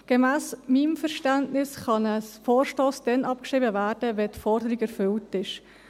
Gemäss meinem Verständnis kann ein Vorstoss dann abgeschrieben werden, wenn die Forderung erfüllt ist.